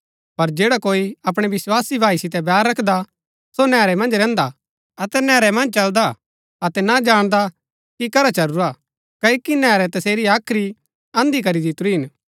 पर जैडा कोई अपणै विस्वासी भाई सितै बैर रखदा सो नैहरै मन्ज रैहन्दा हा अतै नैहरै मन्ज चलदा अतै ना जाणदा कि करा चलुरा क्ओकि नैहरै तसेरी हाख्री अन्‍धी करी दितुरी हिन